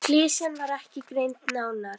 Klisjan var ekki greind nánar.